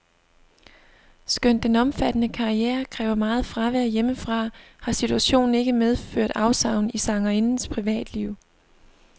Skønt den omfattende karriere kræver meget fravær hjemmefra, har situationen ikke medført afsavn i sangerindens privatliv.